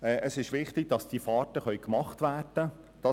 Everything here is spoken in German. Es ist wichtig, dass diese Fahrten durchgeführt werden können.